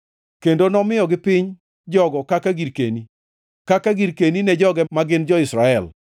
kendo nomiyogi piny jogo kaka girkeni, kaka girkeni ne joge ma gin jo-Israel.